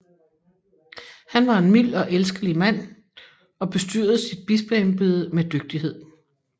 Han var en mild og elskelig mand og bestyrede sit bispeembede med dygtighed